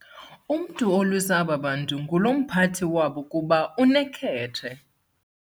Umntu olwisa aba bantu ngulo mphathi wabo kuba unekhethe.